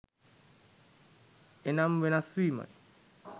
එනම් වෙනස්වීමයි